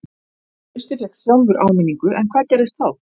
Trausti fékk sjálfur áminningu en hvað gerðist þá?